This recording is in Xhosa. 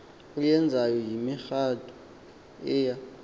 oyenzayo yimigadu eya